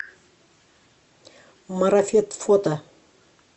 марафет фото